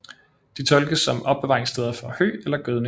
De tolkes som opbevaringssteder for hø eller gødning